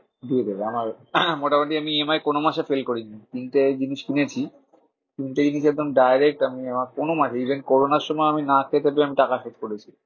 দিয়ে দেবে আমার মোটামুটি আমি EMI কোনো মাসে fail করিনি। তিনটে জিনিস নিয়েছি তিনটেই কিন্তু একদম direct আমি আমার কোনো মাসে even corona র সময় আমি না খেতে পেয়েও আমি টাকা শোধ করেছি।